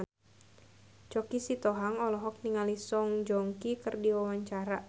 Choky Sitohang olohok ningali Song Joong Ki keur diwawancara